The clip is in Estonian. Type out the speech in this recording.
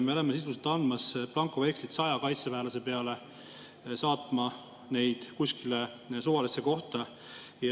Me oleme sisuliselt andmas blankovekslit 100 kaitseväelase kuskile suvalisse kohta saatmiseks.